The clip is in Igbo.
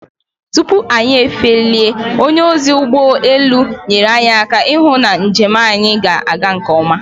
Tupu anyị efelie, onye ozi ụgbọelu nyere aka ihụ na nje m anyị ga-aga nke ọma